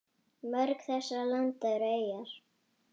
Mörg þessara landa eru eyjar.